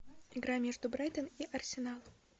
игра между брайтон и арсенал